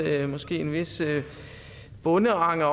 en vis bondeanger